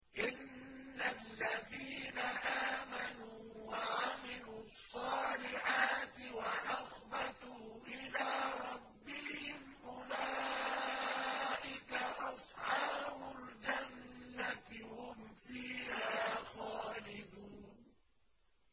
إِنَّ الَّذِينَ آمَنُوا وَعَمِلُوا الصَّالِحَاتِ وَأَخْبَتُوا إِلَىٰ رَبِّهِمْ أُولَٰئِكَ أَصْحَابُ الْجَنَّةِ ۖ هُمْ فِيهَا خَالِدُونَ